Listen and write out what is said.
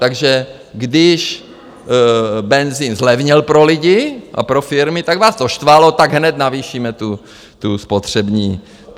Takže když benzin zlevnil pro lidi a pro firmy, tak vás to štvalo, tak hned navýšíme tu spotřební daň.